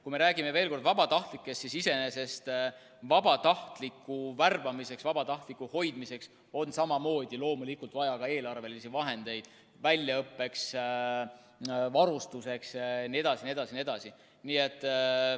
Kui me räägime veel kord vabatahtlikest, siis iseenesest vabatahtliku värbamiseks ja hoidmiseks on samamoodi loomulikult vaja ka eelarvelisi vahendeid, tema väljaõppeks, varustuseks jne.